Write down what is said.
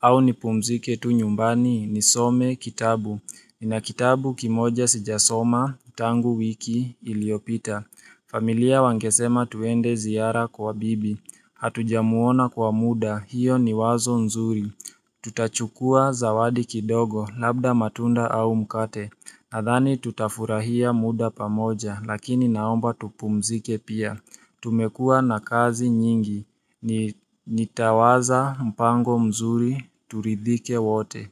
Au nipumzike tu nyumbani ni some kitabu. Nina kitabu kimoja sijasoma, tangu wiki, iliopita. Familia wangesema tuende ziara kwa bibi. Hatujamuona kwa muda, hiyo ni wazo nzuri. Tutachukua zawadi kidogo labda matunda au mkate Nadhani tutafurahia muda pamoja lakini naomba tupumzike pia Tumekuwa na kazi nyingi ni nitawaza mpango mzuri turidhike wote.